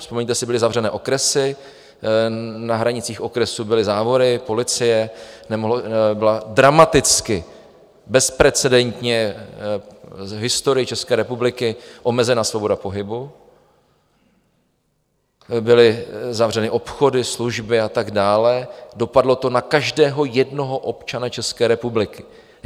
Vzpomeňte si, byly zavřené okresy, na hranicích okresů byly závory, policie, byla dramaticky, bezprecedentně v historii České republiky omezena svoboda pohybu, byly zavřeny obchody, služby a tak dále, dopadlo to na každého jednoho občana České republiky.